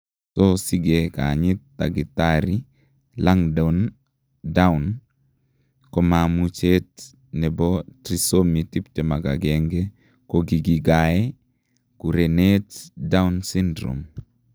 so sige kanyit tagitari Langdon Down, kamamuchet nepo Trisomi 21 kokigigae kurenet Down�s syndrome